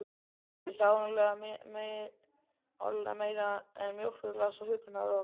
Nú þurfti áreiðanlega meira til en mjólkurglas og huggunarorð.